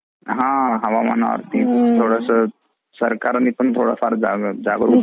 हा हा हवामान वरती सरकारनी पण थोडा जागरूक व्हावा